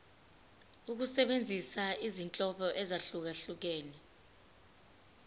ukusebenzisa izinhlobo ezahlukehlukene